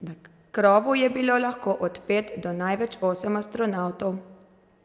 Na krovu je bilo lahko od pet do največ osem astronavtov.